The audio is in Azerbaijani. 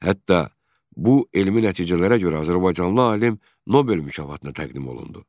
Hətta bu elmi nəticələrə görə azərbaycanlı alim Nobel mükafatına təqdim olundu.